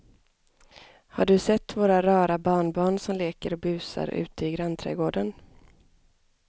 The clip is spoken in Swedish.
Har du sett våra rara barnbarn som leker och busar ute i grannträdgården!